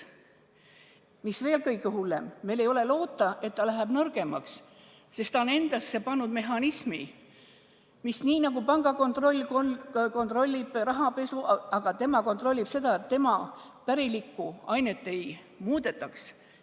Ja mis veel kõige hullem – meil ei ole loota, et ta läheb nõrgemaks, sest ta on endasse pannud mehhanismi, mis nii, nagu pank kontrollib rahapesu, kontrollib seda, et tema pärilikku ainet ei muudetaks.